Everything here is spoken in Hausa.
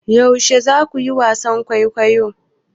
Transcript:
Yaushe za ku yi wasan kwaikwayo?